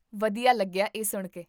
ਵਧੀਆ ਲੱਗਿਆ ਇਹ ਸੁਣਕੇ